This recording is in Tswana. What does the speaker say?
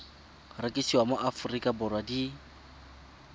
rekisiwa mo aforika borwa di